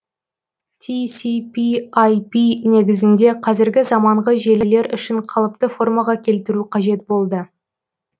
тср ір негізінде қазіргі заманғы желілер үшін қалыпты формаға келтіру қажет болды